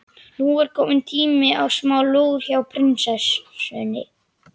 Nú er kominn tími á smá lúr hjá prinsessunni.